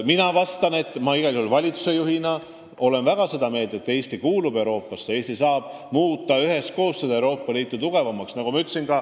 Mina olen valitsuse juhina igal juhul väga seda meelt, et Eesti kuulub Euroopasse ja Eesti saab üheskoos teistega Euroopa Liitu tugevamaks muuta.